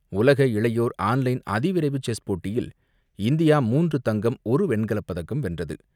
உலக இளையோர் online அதிவிரைவு செஸ் போட்டியில் இந்தியா மூன்று தங்கம், ஒரு வெண்கலப் பதக்கம் வென்றது.